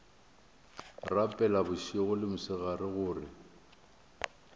rapela bošego le mosegare gore